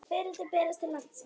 Fiðrildi berast til landsins